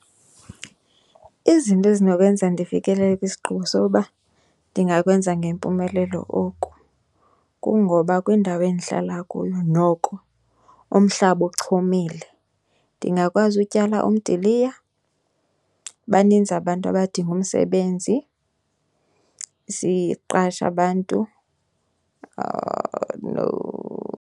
Izinto ezinokwenza ndifikelele kwisigqibo sokuba ndingakwenza ngempumelelo oku kungoba kwindawo endihlala kuyo noko umhlaba uchumile ndingakwazi utyala umdiliya. Baninzi abantu abadinga umsebenzi, siqashe abantu .